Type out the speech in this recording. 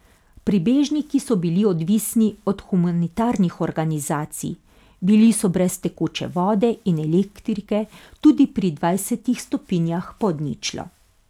Prebežniki so bili odvisni od humanitarnih organizacij, bili so brez tekoče vode in elektrike, tudi pri dvajsetih stopinjah pod ničlo.